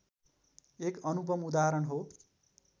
एक अनुपम उदाहरण हो